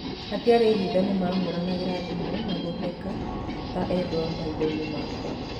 Hatiarĩ hitho nĩmahũranagĩra thimũ na gũthaka ta endwa maithoinĩ makwa